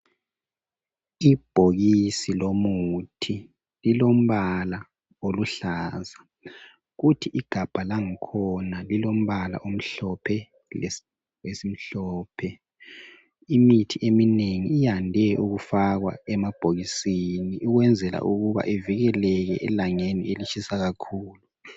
Ibhokisi lomuthi lilombala oluhlaza .Kuthi igabha langikhona lilombala omhlophe lesivalo esimhlophe. Imithi eminengi iyande ukufakwa emabhokisini ukwenzela ukuba ivikeleke elangeni elitshisa kakhulu.